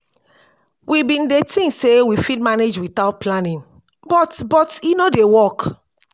we bin dey tink sey we fit manage witout planning but but e no dey work.